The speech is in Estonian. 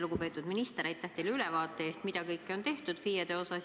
Lugupeetud minister, aitäh teile ülevaate eest, mida kõike on FIE-de osas tehtud!